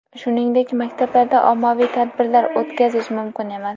Shuningdek, maktablarda ommaviy tadbirlar o‘tkazish mumkin emas.